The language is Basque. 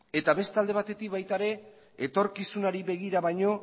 eta beste alde batetik baita ere etorkizunari begira baino